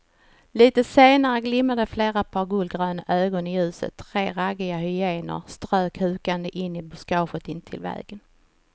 Litet senare glimmade flera par gulgröna ögon i ljuset, tre raggiga hyenor strök hukande in i buskaget intill vägen.